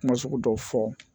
Kuma sugu dɔw fɔ